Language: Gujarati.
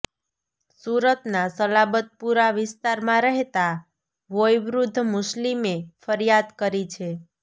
સુરતના સલાબતપુરા વિસ્તારમાં રહેતા વોયવૃદ્વ મુસ્લિમે ફરીયાદ કરી છે